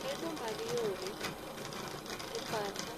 Gedo mag yore kipacha